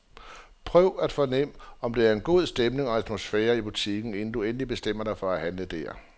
Prøv at fornem om der er en god stemning og atmosfære i butikken, inden du endeligt bestemmer dig for at handle der.